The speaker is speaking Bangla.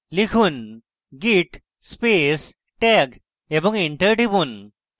লিখুন: git space tag এবং enter টিপুন